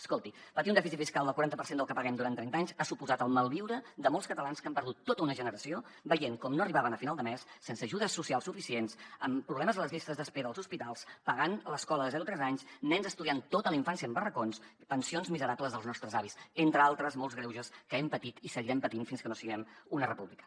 escolti patir un dèficit fiscal del quaranta per cent del que paguem durant trenta anys ha suposat el malviure de molts catalans que han perdut tota una generació veient com no arribaven a final de mes sense ajudes socials suficients amb problemes a les llistes d’espera als hospitals pagant l’escola de zero a tres anys nens estudiant tota la infància en barracons pensions miserables dels nostres avis entre altres molts greuges que hem patit i seguirem patint fins que no siguem una república